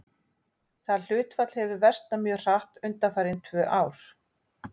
Það hlutfall hefur versnað mjög hratt undanfarin tvö ár.